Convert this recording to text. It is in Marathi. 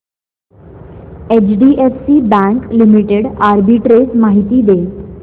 एचडीएफसी बँक लिमिटेड आर्बिट्रेज माहिती दे